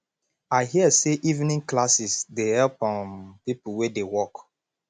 i hear say evening classes dey help um people wey dey work